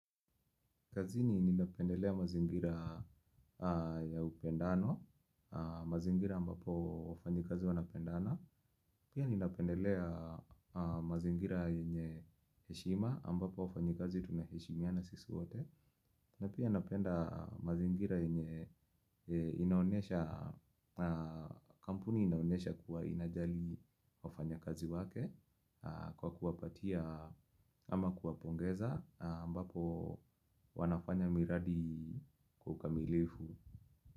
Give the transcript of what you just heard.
Kazini ninapendelea mazingira ya upendano, mazingira ambapo wafanyikazi wanapendana. Pia ninapendelea mazingira yenye heshima ambapo wafanyikazi tunaheshimiana sisi wote. Na pia napenda mazingira yenye inaonesha, kampuni inaonesha kuwa inajali wafanyakazi wake kwa kuwapatia ama kuwapongeza ambapo wanafanya miradi kwa ukamilifu.